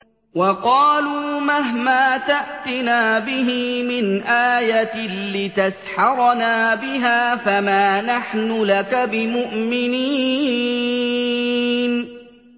وَقَالُوا مَهْمَا تَأْتِنَا بِهِ مِنْ آيَةٍ لِّتَسْحَرَنَا بِهَا فَمَا نَحْنُ لَكَ بِمُؤْمِنِينَ